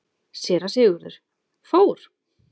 SÉRA SIGURÐUR: Fór?